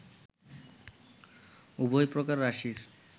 উভয় প্রকার রাশির